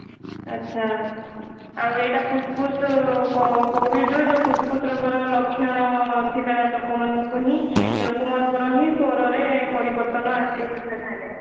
ଆଚ୍ଛା ଆଉ ଏଇଟା ଫୁସଫୁସ covid ରୁ ଯୋଊ ଫୁସଫୁସ ର ଲକ୍ଷଣ ଥିବା ଲୋକମାନଙ୍କୁ ହିଁ ଲୋକମାନଙ୍କର ସ୍ଵର ରେ ପରିବର୍ତ୍ତନ ଆସିବ